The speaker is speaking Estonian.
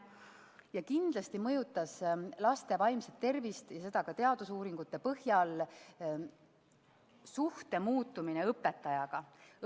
Ja kindlasti mõjutas laste vaimset tervist – ja seda ka teadusuuringute põhjal – suhte muutumine õpetajaga.